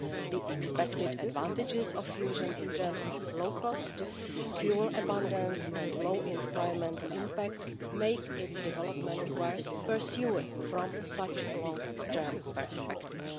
The expected advantages of fusion in terms of low cost fuel abundance and low environmental impact make its development worth pursuing from such a long term perspective.